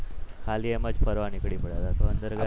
ખાલી એમ જ ફરવા નીકળી પડ્યો હતો તો અંદર